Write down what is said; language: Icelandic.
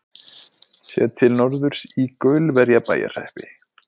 Séð til norðurs í Gaulverjabæjarhreppi.